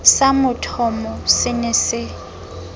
sa mothomo se ne se